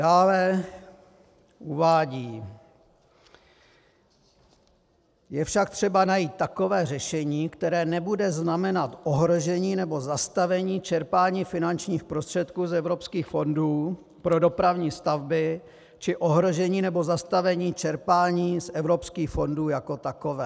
Dále uvádí: Je však třeba najít takové řešení, které nebude znamenat ohrožení nebo zastavení čerpání finančních prostředků z evropských fondů pro dopravní stavby či ohrožení nebo zastavení čerpání z evropských fondů jako takové.